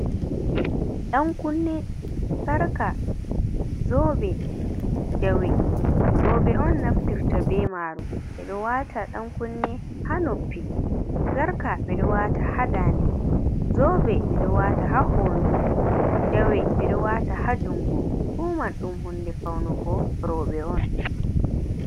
Ɗankunne, sarka, zobe, jawe, roɓe on naftirta be maru. Ɓe ɗo wata ɗankunne ha noppi, sarka ɓe ɗo wata ha daannde, zobe ɓe ɗo wata ha hoondu, jawe ɓe do wata ha jungo. Fu man ɗum hunnde faunugo roɓe on.